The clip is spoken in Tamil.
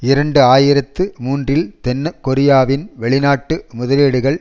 இரண்டு ஆயிரத்தி மூன்றில் தென் கொரியாவின் வெளிநாட்டு முதலீடுகள்